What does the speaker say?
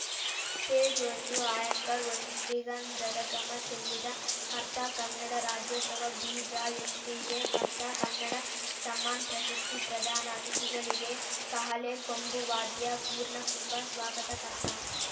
page ಒಂದು anchor ಒಂದು ಶ್ರೀಗಂಧದ ಘಮ ಚೆಲ್ಲಿದ ಕರ್ತ ಕನ್ನಡ ರಾಜ್ಯೋತ್ಸವ ಬಿಜಯಶ್ರೀಗೆ ಕರ್ತ ಕನ್ನಡ ಸಮ್ಮಾನ್‌ ಪ್ರಶಸ್ತಿ ಪ್ರದಾನ ಅತಿಥಿಗಳಿಗೆ ಕಹಳೆ ಕೊಂಬು ವಾದ್ಯ ಪೂರ್ಣಕುಂಭ ಸ್ವಾಗತ